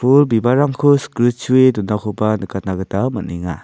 pul bibalrangko sikritchua donakoba nikatna gita man·enga.